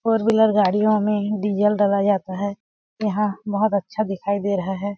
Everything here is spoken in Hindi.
फोर व्हीलर गाड़ियों में ही डीज़ल डला जाता है यहाँ बहुत अच्छा दिखाई दे रहा हैं।